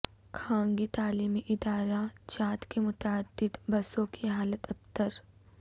خانگی تعلیمی ادارہ جات کے متعدد بسوں کی حالت ابتر